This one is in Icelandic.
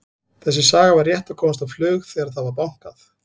Þessi saga var rétt að komast á flug þegar það var bankað.